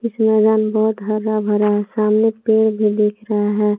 इस मैदान में बहुत हरा भरा है सामने पेड़ भी देख रहा है।